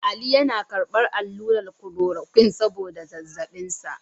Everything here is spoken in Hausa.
Ali yana karbar allurar kulorokwin saboda zazzabin sa.